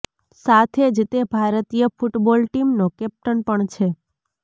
સાથે જ તે ભારતીય ફૂટબોલ ટીમનો કેપ્ટન પણ છે